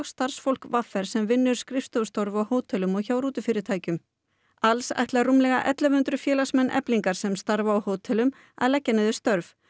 starfsfólk v r sem vinnur skrifstofustörf á hótelum og hjá rútufyrirtækjum alls ætla rúmlega ellefu hundruð félagsmenn Eflingar sem starfa á hótelum að leggja niður störf